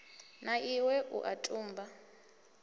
na iwe u a tumba